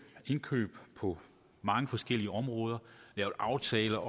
indkøb på mange forskellige områder lavet aftaler